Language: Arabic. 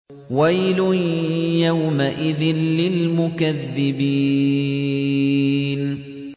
وَيْلٌ يَوْمَئِذٍ لِّلْمُكَذِّبِينَ